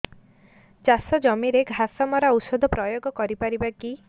ଚାଷ ଜମିରେ ଘାସ ମରା ଔଷଧ ପ୍ରୟୋଗ କରି ପାରିବା କି